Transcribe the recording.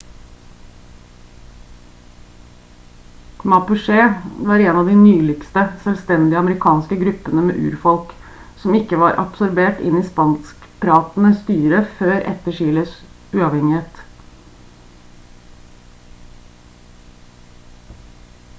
mapuche var en av de nyligste selvstendige amerikanske gruppene med urfolk som ikke var absorbert inn i spanskpratende styre før etter chiles uavhengighet